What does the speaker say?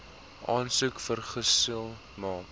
aansoek vergesel maak